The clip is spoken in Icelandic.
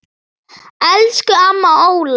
Elsku amma Óla.